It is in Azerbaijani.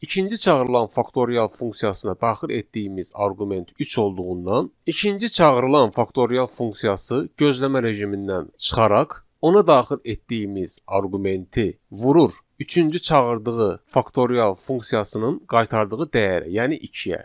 İkinci çağırılan faktorial funksiyasına daxil etdiyimiz arqument üç olduğundan ikinci çağırılan faktorial funksiyası gözləmə rejimindən çıxaraq ona daxil etdiyimiz arqumenti vurur üçüncü çağırdığı faktorial funksiyasının qaytardığı dəyərə, yəni ikiyə.